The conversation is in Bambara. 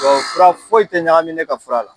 Tubabu fura foyi tɛ ɲagami ne ka fura la.